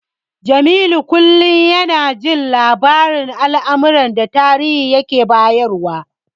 Jamilu kullum yana jin labarin almarar da Tahir yake bayarwa.